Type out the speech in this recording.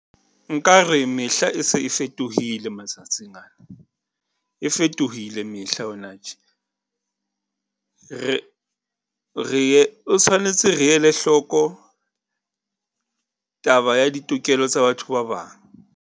Nka re mehla e se e fetohile matsatsing ana, e fetohile mehla hona tje. Re tshwanetse re ele hloko taba ya ditokelo tsa batho ba bang.